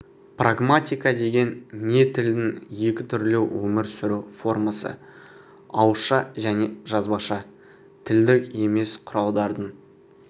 прагматика деген не тілдің екі түрлі өмір сүру формасы ауызша және жазбаша тілдік емес құралдардың